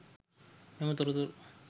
මෙම තොරතුරු